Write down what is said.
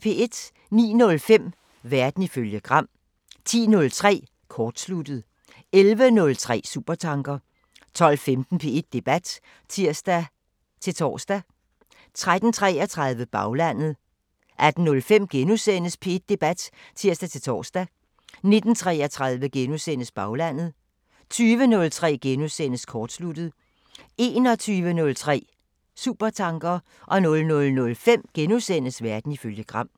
09:05: Verden ifølge Gram 10:03: Kortsluttet 11:03: Supertanker 12:15: P1 Debat (tir-tor) 13:33: Baglandet 18:05: P1 Debat *(tir-tor) 19:33: Baglandet * 20:03: Kortsluttet * 21:03: Supertanker 00:05: Verden ifølge Gram *